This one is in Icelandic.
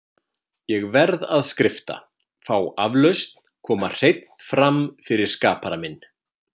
Ég verð að skrifta, fá aflausn, koma hreinn fram fyrir skapara minn.